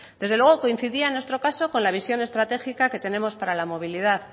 desde luego coincidía en nuestro caso con la visión estratégica que tenemos para la movilidad